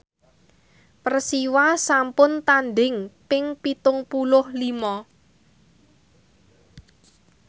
Persiwa sampun tandhing ping pitung puluh lima